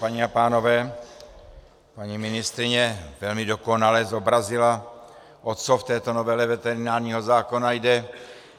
Paní a pánové, paní ministryně velmi dokonale zobrazila, o co v této novele veterinárního zákona jde.